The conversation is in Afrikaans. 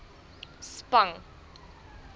spang